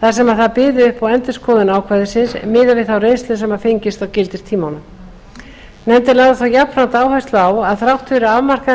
þar sem það byði upp á endurskoðun ákvæðisins miðað við þá reynslu sem fengist á gildistímanum nefndin lagði þó jafnframt áherslu á að þrátt fyrir afmarkaðan